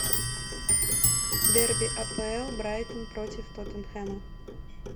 дерби апл брайтон против тоттенхэма